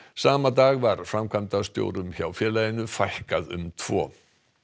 sama dag var framkvæmdastjórum hjá félaginu fækkað um tvo